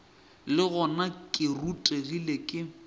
le gona ke rutegile ke